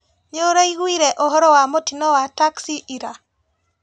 Nĩũraiguire ũhoro wa mũtino wa taxi ira?